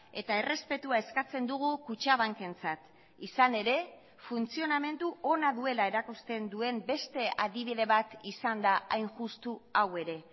eta errespetua eskatzen dugu kutxabankentzat izan ere funtzionamendu ona duela erakusten duen beste adibide bat izan da hain justu hau ere